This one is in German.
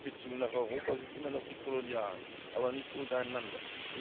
Die Handelsbeziehungen nach Europa sind immer noch die kolonialen, aber nicht untereinander.